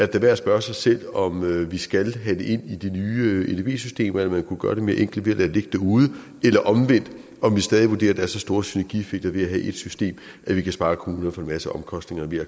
da værd at spørge sig selv om vi skal have det ind i de nye edb systemer eller om man kunne gøre det mere enkelt ved at lade det ligge derude eller omvendt om vi stadig vurderer at der er så store synergieffekter ved at have ét system at vi kan spare kommunerne for en masse omkostninger ved at